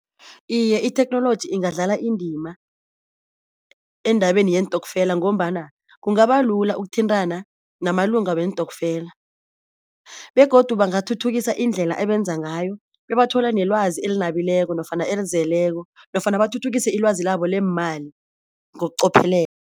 Iye, itheknoloji ingadlala indima endabeni yeentokfela ngombana kungabalula ukuthintana namalunga weentokfela begodu bangathuthuka indlela abenza ngayo bebathola nelwazi elinabileko nofana elizeleko nofana bathuthukise ilwazi labo leemali ngokuqophelela.